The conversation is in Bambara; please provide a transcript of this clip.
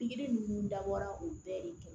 Pikiri ninnu dabɔra o bɛɛ de ye